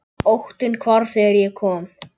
Óttinn hvarf þegar ég kom.